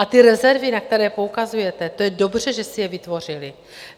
A ty rezervy, na které poukazujete, to je dobře, že si je vytvořily.